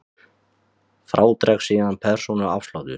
Frá dregst síðan persónuafsláttur.